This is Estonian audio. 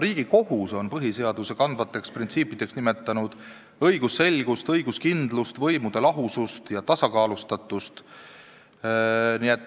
Riigikohus on põhiseaduse kandvateks printsiipideks nimetanud õigusselgust, õiguskindlust, võimude lahusust ja tasakaalustatust.